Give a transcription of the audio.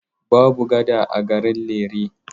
Babu gada a garin Lere.